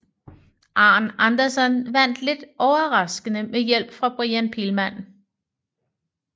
Arn Anderson vandt lidt overraskende med hjælp fra Brian Pillman